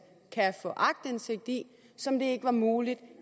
kan få aktindsigt i som det ikke var muligt